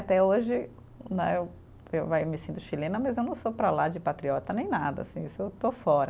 Até hoje né, eu eu vai me sinto chilena, mas eu não sou para lá de patriota nem nada, assim eu sou, estou fora.